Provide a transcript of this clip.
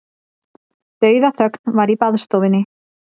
Dauðaþögn var í baðstofunni.